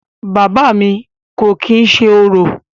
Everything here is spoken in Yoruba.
Bàbá à mi kò kìí ṣe orò.